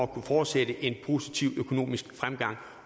kunne fortsætte en positiv økonomisk fremgang